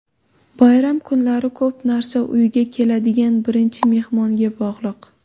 Bayram kunlari ko‘p narsa uyga keladigan birinchi mehmonga bog‘liq.